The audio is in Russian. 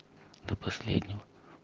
до последнего